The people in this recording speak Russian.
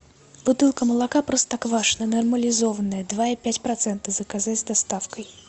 бутылка молока простоквашино нормализованное два и пять процента заказать с доставкой